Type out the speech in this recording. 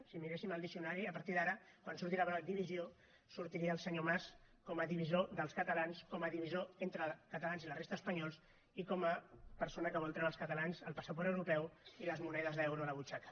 si miréssim el diccionari a partir d’ara quan surti la paraula divisió sortiria el senyor mas com a divisor dels catalans com a divisor entre catalans i la resta d’espanyols i com a persona que vol treure als catalans el passaport europeu i les monedes d’euro a la butxaca